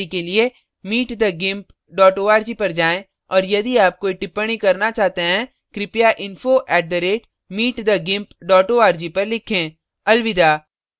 अधिक जानकारी के लिए